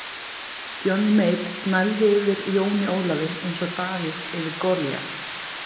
Johnny Mate gnæfði yfir Jóni Ólafi eins og Davíð yfir Golíat.